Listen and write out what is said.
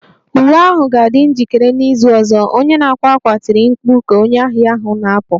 Uwe ahụ ga-adị njikere n'izu ọzọ! Onye na-akwa akwa tiri mkpu ka onye ahịa ahụ na-apụ